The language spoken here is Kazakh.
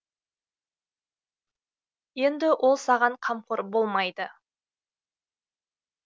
енді ол саған қамқор болмайды